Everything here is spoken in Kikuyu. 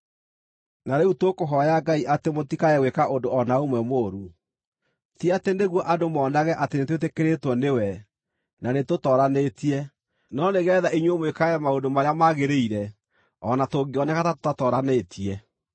Na rĩu tũkũhooya Ngai atĩ mũtikae gwĩka ũndũ o na ũmwe mũũru. Ti atĩ nĩguo andũ monage atĩ nĩtwĩtĩkĩrĩtwo nĩwe, na nĩtũtooranĩtie, no nĩgeetha inyuĩ mwĩkage maũndũ marĩa magĩrĩire, o na tũngĩoneka ta tũtatooranĩtie.